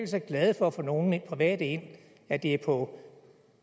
så glad for at få nogle private ind at det er på